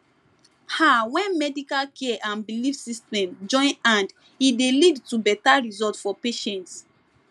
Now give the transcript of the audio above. ah when medical care and belief systems join hand e dey lead to better result for patients